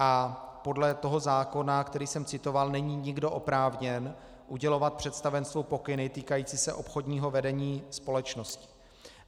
A podle toho zákona, který jsem citoval, není nikdo oprávněn udělovat představenstvu pokyny týkající se obchodního vedení společnosti.